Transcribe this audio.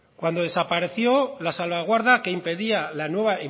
cuando desapareció la salvaguarda que impedía la nueva